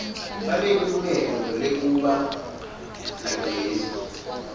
banelilungelo lekuba nagezi